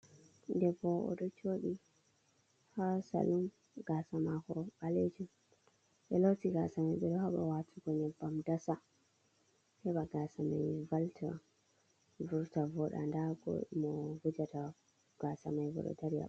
Debbo ɗo bo oɗo joɗi'on ha Salun. Gasa mako ɓalejum ɓe ɗo loti Gasa mai, ɓeɗo haɓa watugo Nyebbam dasa, heɓa Gasa mai walta vurta Voɗa nda go Mo wujata Gasa mai bo ɗo dari ha.